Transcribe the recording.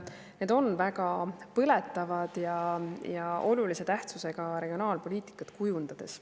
Need on väga põletavad ja olulise tähtsusega regionaalpoliitikat kujundades.